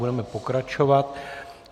Budeme pokračovat.